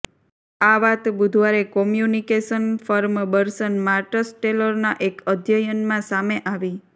આ વાત બુધવારે કોમ્યુનિકેશન ફર્મ બર્સન માર્ટ્સટેલરના એક અધ્યયનમાં સામે આવી